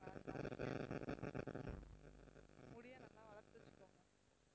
முடிய நல்லா வளர்த்து வச்சிக்கோங்க